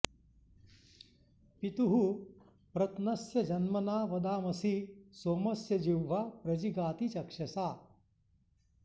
पितुः प्रत्नस्य जन्मना वदामसि सोमस्य जिह्वा प्र जिगाति चक्षसा